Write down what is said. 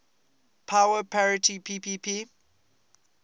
power parity ppp